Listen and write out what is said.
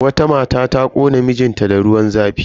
Wata mata ta kona mijin ta da ruwan zafi.